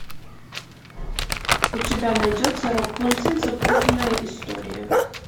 у тебя найдется рапунцель запутанная история